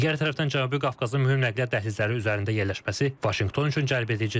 Digər tərəfdən Cənubi Qafqazın mühüm nəqliyyat dəhlizləri üzərində yerləşməsi Vaşinqton üçün cəlbedicidir.